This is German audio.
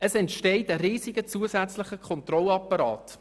So entsteht ein riesiger Kontrollapparat.